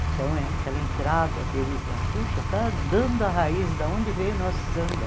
Então, aquela entrada deles lá, poxa, está dando a raiz da onde veio o nosso samba.